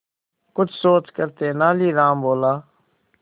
कुछ सोचकर तेनालीराम बोला